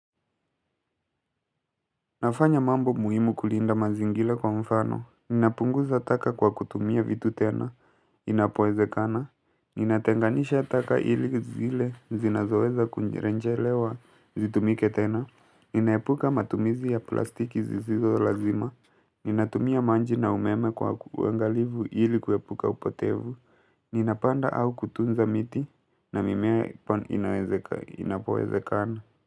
Nafanya mambo muhimu kulinda mazingira kwa mfano, ninapunguza taka kwa kutumia vitu tena, inapowezekana, ninatenganisha taka ili zile zinazoweza kurejelewa zitumike tena. Ninaepuka matumizi ya plastiki zisizo lazima, ninatumia maji na umeme kwa uangalivu ili kuepuka upotevu, ninapanda au kutunza miti na mimea inapowezekana.